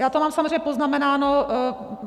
Já to mám samozřejmě poznamenáno.